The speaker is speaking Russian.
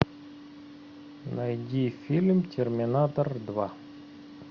найди фильм терминатор два